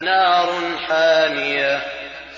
نَارٌ حَامِيَةٌ